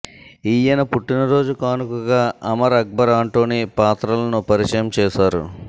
ఈయన పుట్టిన రోజు కానుకగా అమర్ అక్బర్ ఆంటోనీ పాత్రలను పరిచయం చేసారు